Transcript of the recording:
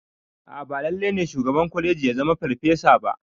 A'a ba lalle ne shugaban kwalegi ya zama ferfasa ba